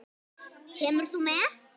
Kemur þú með?